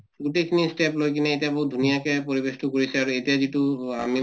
গোটেই খিনি step লৈ কিনে এতিয়া বহুত ধুনীয়াকে পৰিবেশতো কৰিছে আৰু এতিয়া যিটো আমি